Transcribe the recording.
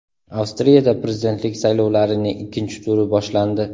Avstriyada prezidentlik saylovlarining ikkinchi turi boshlandi.